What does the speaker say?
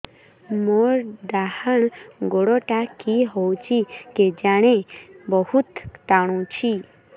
ମୋର୍ ଡାହାଣ୍ ଗୋଡ଼ଟା କି ହଉଚି କେଜାଣେ ବହୁତ୍ ଟାଣୁଛି